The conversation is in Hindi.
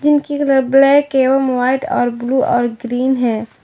इनकी कलर ब्लैक एवं व्हाइट और ब्लू और क्रीम है।